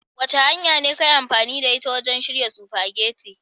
Wace hanya ka yi amfani da ita wajen shirya spaghetti?